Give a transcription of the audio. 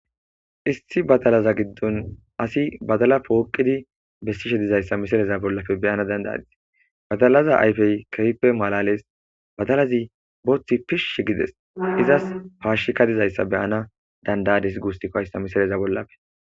issi batalaza giddon asi badala pooqidi besiishshe dizayssa misileza bollafe beyana danda'adise badalaza ayfey kefipe malales batalazi booththi pish gides izas paashshika dizayssa beyana dandayadis gussikko hayisa misileza bollafe